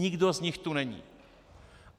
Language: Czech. Nikdo z nich tu není.